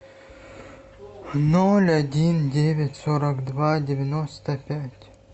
ноль один девять сорок два девяносто пять